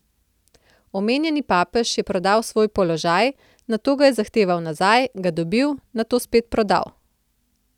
Omenjeni papež je prodal svoj položaj, nato ga je zahteval nazaj, ga dobil, nato spet prodal ...